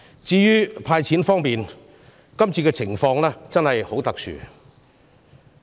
至於"派錢"措施方面，今次的情況真的很特殊。